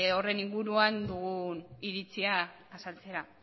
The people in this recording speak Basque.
horren inguruan dugun iritzia azaltzera